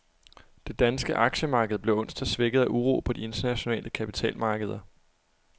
Det danske aktiemarked blev onsdag svækket af uro på de internationale kapitalmarkeder.